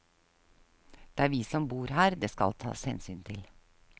Det er vi som bor her det skal taes hensyn til.